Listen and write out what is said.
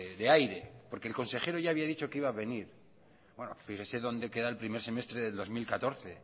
de aire el consejero ya había dicho que iba a venir fíjense dónde queda el primer semestre del dos mil catorce